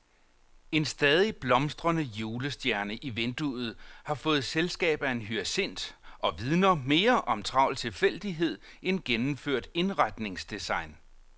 En stadig blomstrende julestjerne i vinduet har fået selskab af en hyacint og vidner mere om travl tilfældighed end gennemført indretningsdesign.